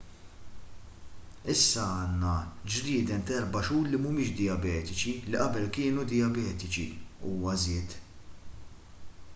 issa għandna ġrieden ta' 4 xhur li mhumiex dijabetiċi li qabel kienu dijabetiċi huwa żied